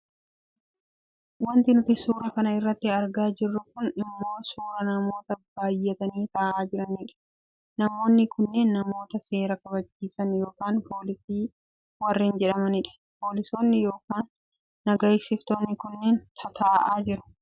Wanti nuti suura kana irratti argaa jirru kun ammoo suuraa namoota baayyatanii taa'aa jiranidha. Namoonni kunneen namoota seera kabachiisan yookaan poolisii warreen jedhamanidha. Poolisoonni yookaan naga eegsiftoonni kunneen tataa'aa jiru.